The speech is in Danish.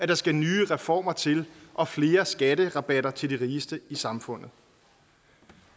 der skal nye reformer til og flere skatterabatter til de rigeste i samfundet